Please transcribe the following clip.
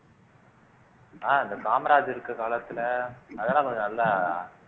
இந்த காமராஜர் இருக்கிற காலத்திலே அதெல்லாம் கொஞ்சம் நல்லா